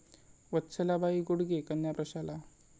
वत्सलाबाई गुडगे कन्या प्रशाला